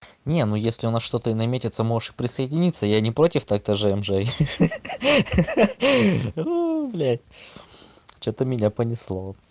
не ну если у нас что-то и наметится можешь и присоединиться я не против так то ж ж ха-ха-ха ой блядь что-то меня понесло